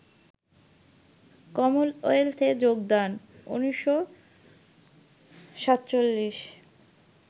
Commonwealth এ যোগদান: ১৯৪৭